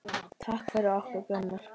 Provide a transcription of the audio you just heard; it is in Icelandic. Takk fyrir okkur, Gunnar.